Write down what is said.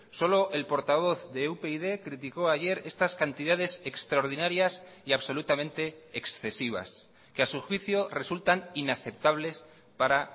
solo el portavoz de upyd criticó ayer estas cantidades extraordinarias y absolutamente excesivas que a su juicio resultan inaceptables para